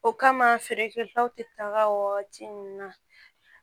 O kama feere kɛtaw tɛ taga o waati ninnu na